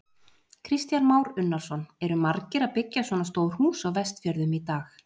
Kristján Már Unnarsson: Eru margir að byggja svona stór hús á Vestfjörðum í dag?